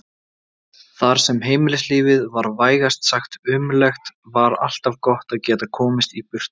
Þar sem heimilislífið var vægast sagt ömurlegt var alltaf gott að geta komist í burtu.